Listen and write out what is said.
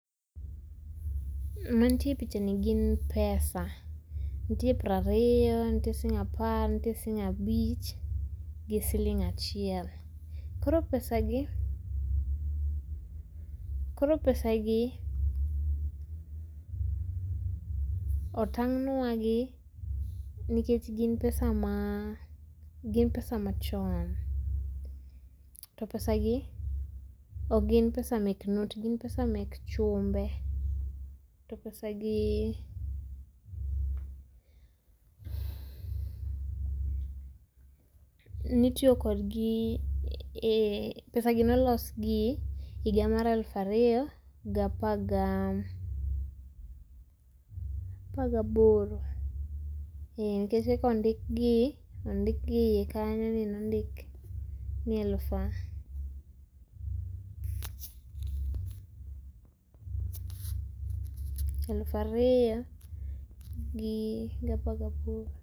Mantie e picha ni gin pesa. Ntie prario ntie, siling apar, nitie siling abich, gi siling achiel. Koro pesa gi koro pesa gi otang'wani gi nikech gin pesa ma ah gin pesa machon. To pesa gi okgin pesa mek note gin pesa mek chumbe. To pesa gi nitio kodgi eeh pesa gi nolos gi higa mar eluf ario gapar ga apar gaboro eh nikech kaka ondikgi ondikgi eiye kanyo ni nondik ni eluf ah eluf ario gapar gaboro.